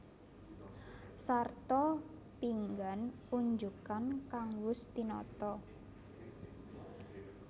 Sarta pinggan unjukan kang wus tinata